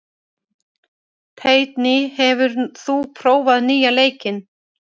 Teitný, hefur þú prófað nýja leikinn?